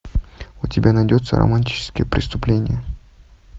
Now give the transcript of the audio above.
у тебя найдется романтическое преступление